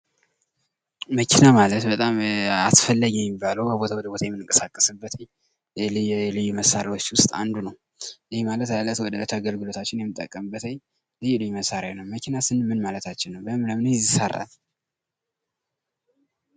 መኪና ማለት በጣም አስፈላጊ የሚባለው ከቦታ ወደ ቦታ የምንቀሳቀስበት ልዩ መሳሪያዎች ውስጥ አንዱ ነው ።ይህ ማለት እለት ከእለት አገልግሎታችን የምንጠቀበት ልዩ ልዩ መሳሪያ ነው ። መኪና ስንል ምን ማለታችን ነው? ከምን ከምን ይሰራል?